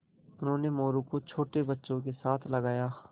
उन्होंने मोरू को छोटे बच्चों के साथ लगाया